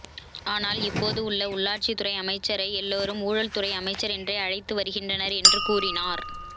ஆனால் இப்போது உள்ள உள்ளாட்சி துறை அமைச்சரை எல்லோரு ஊழல்துறை அமைச்சர் என்றே அழைத்து வருகின்றனர் என்று கூறினார்